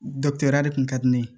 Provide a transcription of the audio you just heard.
ya de kun ka di ne ye